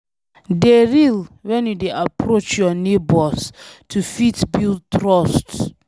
Dey real when you dey approach your neigbours to fit build trust